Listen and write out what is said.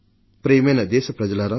ప్రియమైన నా దేశ ప్రజలారా